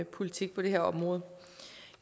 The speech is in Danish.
politik på det her område